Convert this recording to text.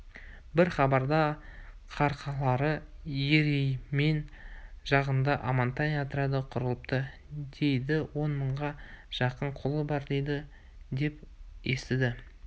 бір хабарда қарқаралы ереймен жағында амантай отряды құрылыпты дейді он мыңға жақын қолы бар дейді деп естіді